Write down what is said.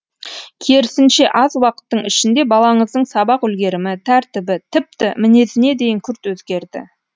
керісінше аз уақыттың ішінде балаңыздың сабақ үлгерімі тәртібі тіпті мінезіне дейін күрт өзгерді